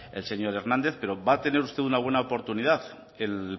el señor hernández pero va a tener usted buena oportunidad el